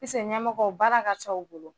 ɲɛmɔgɔw baara ka ca u bolo